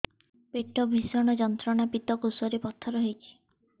ପେଟ ଭୀଷଣ ଯନ୍ତ୍ରଣା ପିତକୋଷ ରେ ପଥର ହେଇଚି